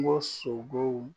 Kungo sogow